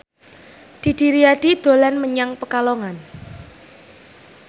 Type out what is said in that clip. Didi Riyadi dolan menyang Pekalongan